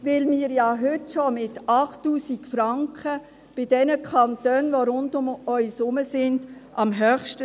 Denn wir sind mit 8000 Franken ja heute schon von den Kantonen ringsherum am höchsten.